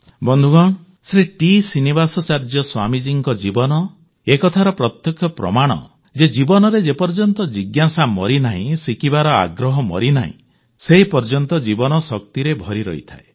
ବନ୍ଧୁଗଣ ଶ୍ରୀ ଟି ଶ୍ରୀନିବାସାଚାର୍ଯ୍ୟ ସ୍ୱାମୀଜୀଙ୍କ ଜୀବନ ଏକଥାର ପ୍ରତ୍ୟକ୍ଷ ପ୍ରମାଣ ଯେ ଜୀବନରେ ଯେପର୍ଯ୍ୟନ୍ତ ଜିଜ୍ଞାସା ମରିନାହିଁ ଶିଖିବାର ଆଗ୍ରହ ମରିନାହିଁ ସେପର୍ଯ୍ୟନ୍ତ ଜୀବନ ଶକ୍ତିରେ ଭରିରହିଥାଏ